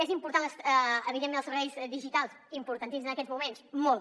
són importants evidentment els serveis digitals importantíssims en aquests moments molt